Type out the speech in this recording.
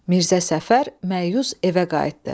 Mirzə Səfər məyus evə qayıtdı.